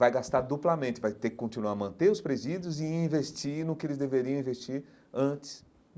Vai gastar duplamente, vai ter que continuar a manter os presídios e investir no que eles deveriam investir antes.